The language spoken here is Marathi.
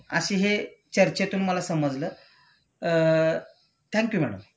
अशे हे चर्चेतून मला समजलं.अ थँक यु मॅडम